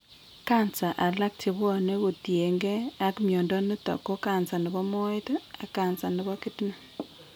Cancer alag chebwanee kotien gee ak mnyondo niton ko cancer nebo moet ak cancer nebo kidney